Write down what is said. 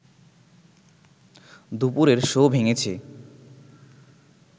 দুপুরের শো ভেঙেছে